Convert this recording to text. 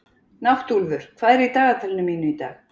Náttúlfur, hvað er í dagatalinu mínu í dag?